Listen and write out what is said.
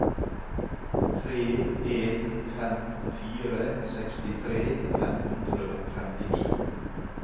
tre en fem fire sekstitre fem hundre og femtini